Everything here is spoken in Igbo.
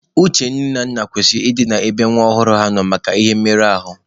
Uche nne na nna kwesịrị ị dị ebe nwa ọhụrụ ha nọ maka ihe ị merụ ya ahụ.